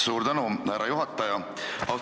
Suur tänu, härra juhataja!